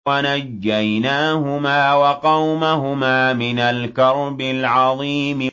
وَنَجَّيْنَاهُمَا وَقَوْمَهُمَا مِنَ الْكَرْبِ الْعَظِيمِ